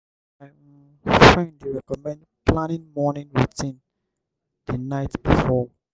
my um friend dey recommend planning morning routine the night before.